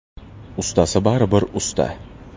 Ustasi baribir usta.